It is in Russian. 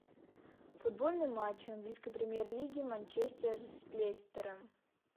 футбольный матч английской премьер лиги манчестер с лестером